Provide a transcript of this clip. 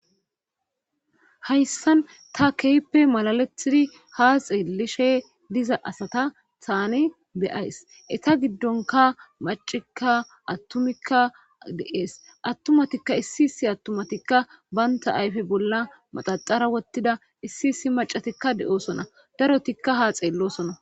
Hayssan ta keyppe malalethidi ha xeelishe diza asata thaani beyays eta giddonka macikka attumikka de'ees attumatikka issi issi attumatikka baynta ayfe bolla maxaxara wottida issi issi macatikka de.oosona darotikka ha xeellosona.